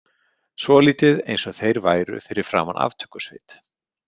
Svolítið eins og þeir væru fyrir framan aftökusveit.